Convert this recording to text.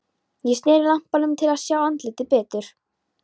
Ég sneri lampanum til að sjá andlitið betur.